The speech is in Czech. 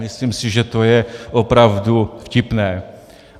Myslím si, že to je opravdu vtipné.